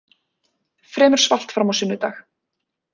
Fremur svalt fram á sunnudag